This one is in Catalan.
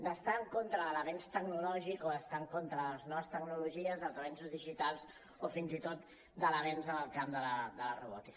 d’estar en contra de l’avenç tecnològic o d’estar en contra de les noves tecnologies dels avenços digitals o fins i tot de l’avenç en el camp de la robòtica